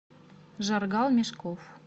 жаргал мешков